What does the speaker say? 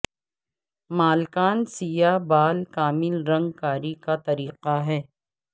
مالکان سیاہ بال کامل رنگ کاری کا طریقہ ہے